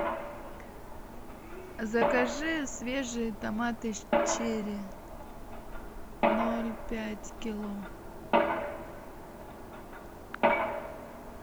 закажи свежие томаты черри ноль пять кило